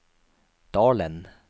Dalen